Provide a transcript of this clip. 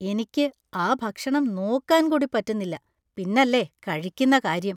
എനിക്ക് ആ ഭക്ഷണം നോക്കാൻ കൂടി പറ്റുന്നില്ല, പിന്നല്ലേ കഴിക്കുന്ന കാര്യം!